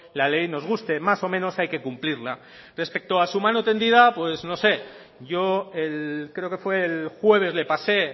la ley nos guste más o menos hay que cumplirla respecto a su mano tendida pues no sé yo creo que fue el jueves le pase